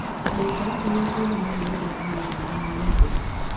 Thika nĩ yũĩkaine mũno nĩ ũndũ wa mĩgũnda ya mĩembe.